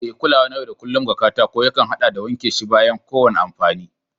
E, Kulawa na yau da kullun na katako yankan ya haɗa da wanke shi bayan kowane amfani.